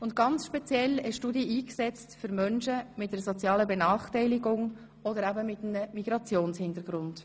Ganz speziell hast du dich eingesetzt für Menschen mit einer sozialen Benachteiligung oder eben mit einem Migrationshintergrund.